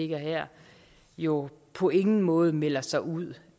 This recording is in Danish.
her jo på ingen måde melder sig ud